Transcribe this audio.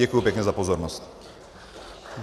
Děkuji pěkně za pozornost.